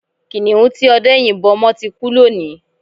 Kiniun tí ọdẹ́ yìnbọ́ mọ́ ti kú lónìí